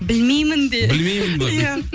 білмеймін де білмеймін бе иә